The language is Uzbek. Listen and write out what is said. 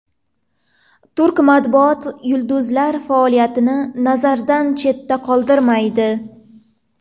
Turk matbuoti yulduzlar faoliyatini nazardan chetda qoldirmaydi.